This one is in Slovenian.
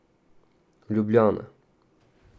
Ljubljana.